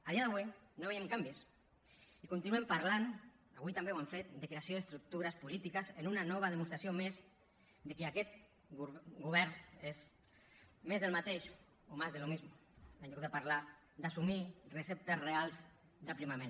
a dia d’avui no veiem canvis i continuen parlant avui també ho han fet de creació d’estructures polítiques en una nova demostració més que aquest govern és més del mateix o más de lo mismo en lloc de parlar d’assumir receptes reals d’aprimament